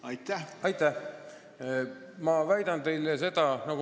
Aitäh!